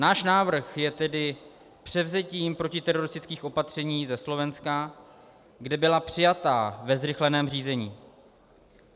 Náš návrh je tedy převzetím protiteroristických opatření ze Slovenska, která byla přijata ve zrychleném řízení.